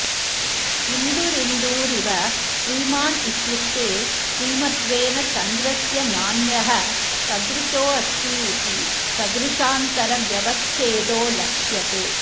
इन्दुरिन्दुरिव श्रीमान् इत्युक्ते श्रीमत्त्वेन चन्द्रस्य नान्यः सदृशोऽस्तीति सदृशान्तरव्यवच्छेदो लक्ष्यते